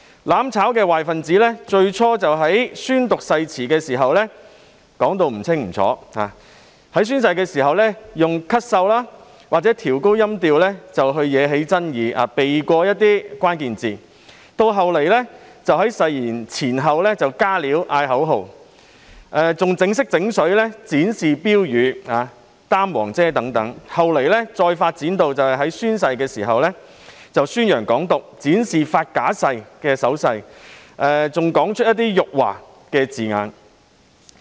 "攬炒"壞分子最初在宣讀誓言時唸得含糊不清，在宣誓時利用咳嗽或提高音調來惹起爭議，避過一些關鍵詞語；其後更在誓言前後"加料"，喊口號，還"整色整水"，展示標語、舉起黃色雨傘等；後來甚至在宣誓時宣揚"港獨"，擺出發假誓的手勢，更說出一些辱華字眼。